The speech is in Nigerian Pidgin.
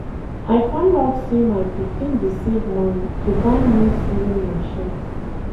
I find out say my pikin dey save money to buy new sewing machine